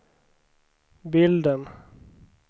bilden